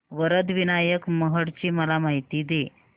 वरद विनायक महड ची मला माहिती दे